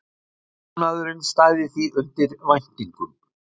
Búnaðurinn stæði því undir væntingum